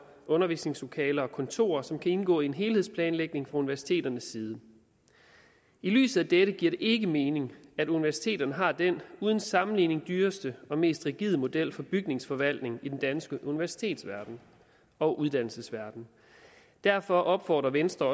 undervisningslokaler og kontorer som kan indgå i en helhedsplanlægning fra universiteternes side i lyset af dette giver det ikke mening at universiteterne har den uden sammenligning dyreste og mest rigide model for bygningsforvaltning i den danske universitetsverden og uddannelsesverden derfor opfordrer venstre